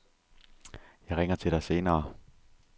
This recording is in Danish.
Jeg ringer til dig senere.